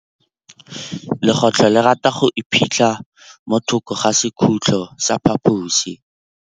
Legôtlô le rata go iphitlha mo thokô ga sekhutlo sa phaposi.